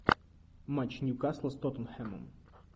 матч ньюкасла с тоттенхэмом